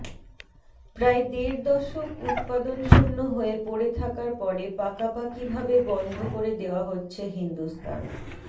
প্রায় দেড় দশক উৎপাদনশূন্য হয়ে পড়ে থাকার পরে পাকাপাকি ভাবে বন্ধ করে দেওয়া হচ্ছে হিন্দুস্তান